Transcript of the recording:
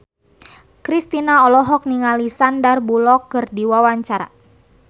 Kristina olohok ningali Sandar Bullock keur diwawancara